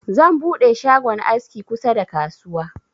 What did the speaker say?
Zan buɗe shagon aski kusa da kasuwa.